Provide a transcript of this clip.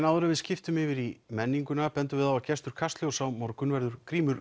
áður en við skiptum yfir í í menninguna bendum við á að gestur Kastljóss á morgun verður Grímur